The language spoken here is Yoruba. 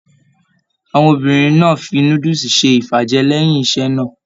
Àwọn obìnrin náà fí núdúsí ṣe ifajẹ lẹyìn iṣẹ náà.